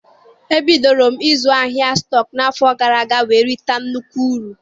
E bidoro m ịzụ ahịa stọk n'afọ gara aga wee rita nnukwu uru.